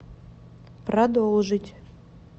продолжить